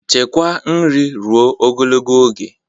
Chekwaa nri ruo ogologo oge